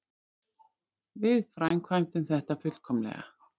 Við framkvæmdum þetta fullkomlega.